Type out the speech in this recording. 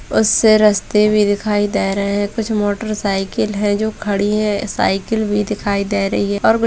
बहुत से रस्ते भी दिखाई दे रहे हैं कुछ मोटरसाइकिल है जो खड़ी है साइकिल भी दिखाई दे रही है और कुछ--